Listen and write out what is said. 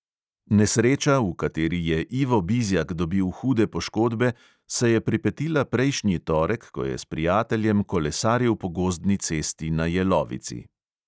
Nesreča, v kateri je ivo bizjak dobil hude poškodbe, se je pripetila prejšnji torek, ko je s prijateljem kolesaril po gozdni cesti na jelovici.